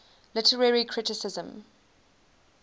literary criticism